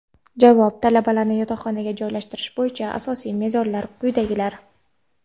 Javob: Talabalarni yotoqxonaga joylashtirish bo‘yicha asosiy mezonlar quyidagilar:.